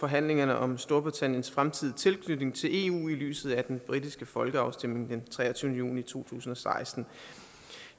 forhandlingerne om storbritanniens fremtidige tilknytning til eu i lyset af den britiske folkeafstemning den treogtyvende juni to tusind og seksten